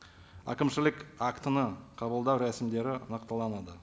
әкімшілік актіні қабылдау рәсімдері нақтыланады